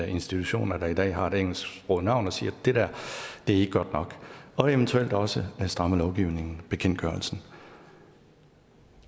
institutioner der i dag har et engelsksproget navn og siger det der er ikke godt nok og eventuelt også strammer lovgivningen bekendtgørelsen